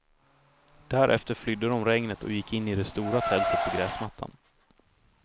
Därefter flydde de regnet och gick in i det stora tältet på gräsmattan.